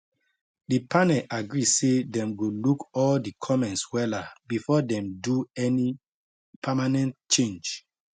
the panel agree say dem go look all the comments wella before dem do any permanent change